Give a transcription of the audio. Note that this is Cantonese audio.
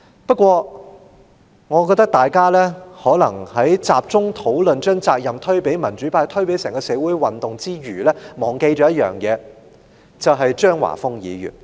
不過，我認為大家在集中討論把責任推給民主派、推給整個社會運動之餘，可能忘記了一點，就是張華峰議員的表現。